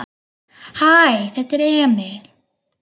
Hæ, þetta er Emil.